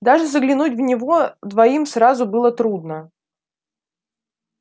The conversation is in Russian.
даже заглянуть в него двоим сразу было трудно